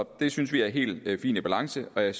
det synes vi er helt fint i balance og jeg